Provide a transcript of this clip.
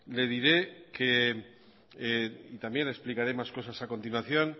le diré que y también explicaré más cosas a continuación